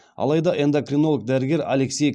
алайда эндокринолог дәрігер алексей